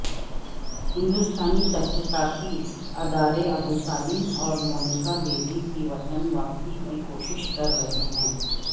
ہندوستانی تحقیقاتی ادارے ابوسالم اور مونیکا بیدی کی وطن واپسی کی کوشش کر رہے ہیں